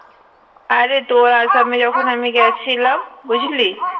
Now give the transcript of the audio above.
আরে তোর আসামে যখন আমি গেছিলাম বুঝলি